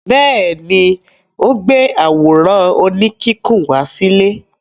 Bẹ́ẹ̀ ni, ó gbé àwòrán oníkíkùn wá sílé.